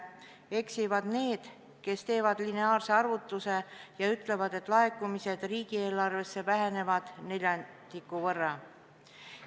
Eksivad need, kes teevad lineaarse arvutuse ja ütlevad, et laekumised riigieelarvesse vähenevad neljandiku võrra.